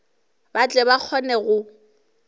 ba tle ba kgone go